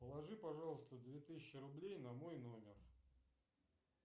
положи пожалуйста две тысячи рублей на мой номер